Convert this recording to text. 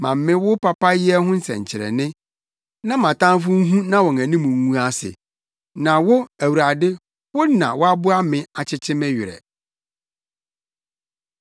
Ma me wo papayɛ ho nsɛnkyerɛnne, na mʼatamfo nhu na wɔn anim ngu ase na wo, Awurade, wo na woaboa me akyekye me werɛ.